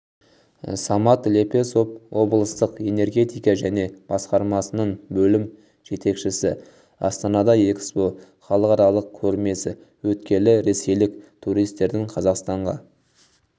самат лепесов облыстық энергетика және басқармасының бөлім жетекшісі астанада экспо халықаралық көрмесі өткелі ресейлік туристердің қазақстанға